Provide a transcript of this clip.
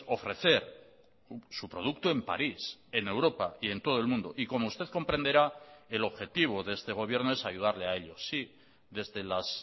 ofrecer su producto en parís en europa y en todo el mundo y como usted comprenderá el objetivo de este gobierno es ayudarle a ellos sí desde las